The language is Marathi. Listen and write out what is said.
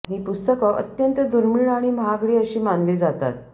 ही पुस्तकं अत्यंत दुर्मिळ आणि महागडी अशी मानली जातात